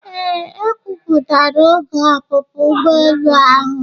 Ee, e kwuputara oge ọpụpụ ụgbọelu ahụ.